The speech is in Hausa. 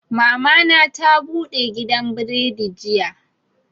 Mama na ta bude gidan buredi jiya